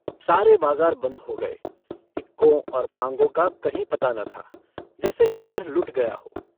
सारे बाजार बन्द हो गए। इक्कों और ताँगों का कहीं पता न था, जैसे शहर लुट गया हो।